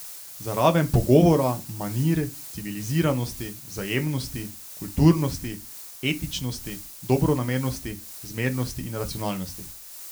Za raven pogovora, manir, civiliziranosti, vzajemnosti, kulturnosti, etičnosti, dobronamernosti, zmernosti in racionalnosti.